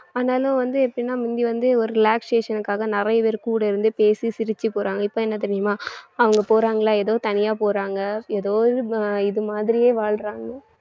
ஆனாலும் வந்து எப்படின்னா முந்தி வந்து ஒரு relaxation க்காக நிறைய பேர் கூட இருந்து பேசி சிரிச்சு போறாங்க இப்ப என்ன தெரியுமா அவங்க போறாங்களா ஏதோ தனியா போறாங்க ஏதோ இது மாதிரியே வாழ்றாங்க